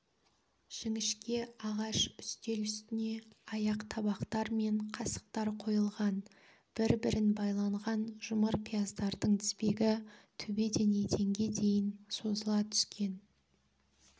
жіңішке ағаш үстел үстіне аяқ-табақтар мен қасықтар қойылған бір-бірін байланған жұмыр пияздардың тізбегі төбеден еденге дейін созыла түскен